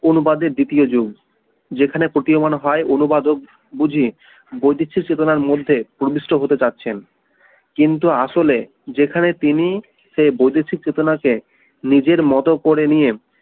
অনুবাদের দ্বিতীয় যুগ যেখানে প্রতীয়মান হয় অনুবাদ ও বুঝি বৈদিশ্য চেতনার মধ্যে অধিষ্ঠ হতে চাচ্ছেন কিন্তু আসলে যেখানে তিনি সে বৈদেশিক চেতনা কে নিজের মত করে নিয়ে